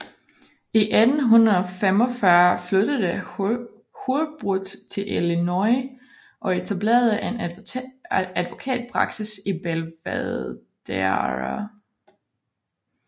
I 1845 flyttede Hurlbut til Illinois og etablerede en advokatpraksis i Belvedere